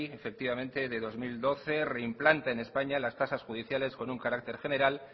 efectivamente del dos mil doce reimplanta en españa las tasas judiciales con un carácter general